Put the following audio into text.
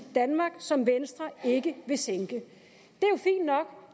danmark som venstre ikke vil sænke